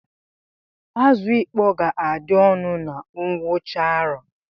Azụ ịkpọ ga-adị ọnụ na ngwụcha arọ